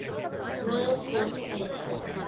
royal court theatre